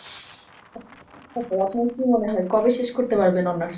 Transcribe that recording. ওহ আপনার কি মনে হয় কবে শেষ করতে পারবেন honours?